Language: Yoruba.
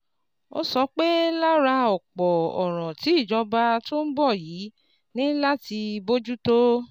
Ó sọ pé lára ọ̀pọ̀ ọ̀ràn tí ìjọba tó ń bọ̀ yìí ní láti bójú tó